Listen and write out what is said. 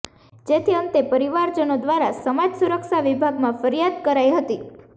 જેથી અંતે પરિવારજનો દ્વારા સમાજ સુરક્ષા વિભાગમાં ફરિયાદ કરાઈ હતી